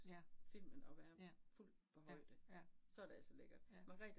Ja, ja, ja ja, ja